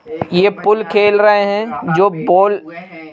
ये पूल खेल रहे हैं जो पोल --